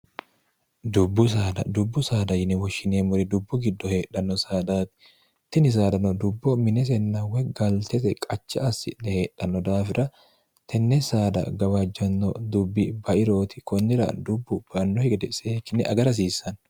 dubbu saada yine woshshineemmori dubbu giddo heedhanno saadaati tini saadano dubbo minesenna weggaaltete qacha assi'ne heedhanno daafira tenne saada gawaajjanno dubbi bairooti kunnira dubbu banno igede seekinne agarahasiissanno